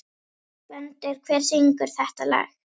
Gvöndur, hver syngur þetta lag?